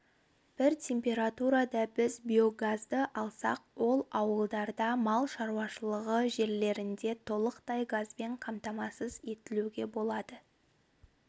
бір температурада біз биогазды алсақ ол ауылдарда мал шаруашылығы жерлерінде толықтай газбен қамтамасыз етілуге болады